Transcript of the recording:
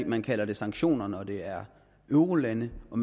man kalder det sanktioner når det er eurolande og